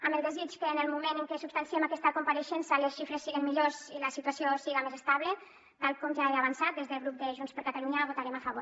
amb el desig que en el moment en què substanciem aquesta compareixença les xifres siguen millors i la situació siga més estable tal com ja he avançat des del grup de junts per catalunya votarem a favor